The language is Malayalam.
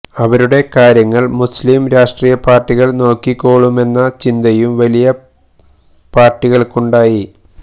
ഇവരുടെ കാര്യങ്ങള് മുസ്ലീം രാഷ്ട്രീയ പാര്ട്ടികള് നോക്കിക്കോളുമെന്ന ചിന്തയും വലിയ പാര്ട്ടികള്ക്കുണ്ടായി